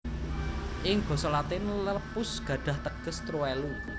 Ing basa Latin lepus gadhah teges truwelu